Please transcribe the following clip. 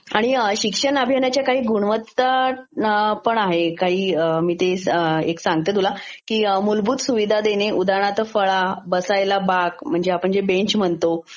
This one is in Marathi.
आणि सिक्षण अभियानाच्या काही गुणवत्तापण आहेत काही मी ते एक सांगते तुला. की मूलभूत सुविधा देणे. उदाहरणार्थ फळा, बसायला बाक म्हणजे आपण जे बेंच म्हणतो